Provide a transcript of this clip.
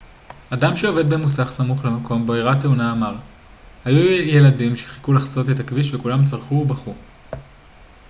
אדם שעובד במוסך סמוך למקום בו אירעה התאונה אמר היו ילדים שחיכו לחצות את הכביש וכולם צרחו ובכו